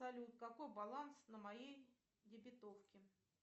салют какой баланс на моей дебетовке